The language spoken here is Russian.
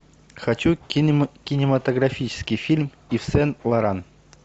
хочу кинематографический фильм ив сен лоран